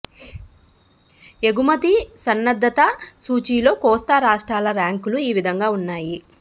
ఎగుమతి సన్నద్థత సూచీలో కోస్తా రాష్ట్రాల ర్యాంకులు ఈ విధంగా ఉన్నాయి